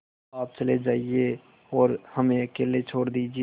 आप चले जाइए और हमें अकेला छोड़ दीजिए